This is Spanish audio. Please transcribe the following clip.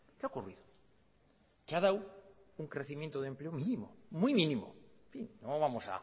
qué ha ocurrido que ha dado un crecimiento de empleo mínimo muy mínimo en fin no vamos